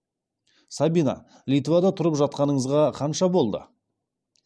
сабина литвада тұрып жатқаныңызға қанша болды